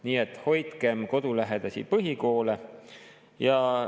Nii et hoidkem kodulähedasi põhikoole!